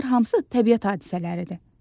Bunlar hamısı təbiət hadisələridir.